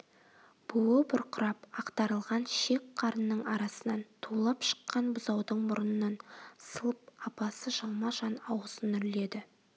буы бұрқырап ақтарылған шек-қарынның арасынан тулап шыққан бұзаудың мұрынын сылып апасы жалма-жан аузын үрледі